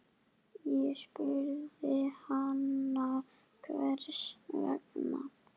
Ég spurði hana hvers vegna.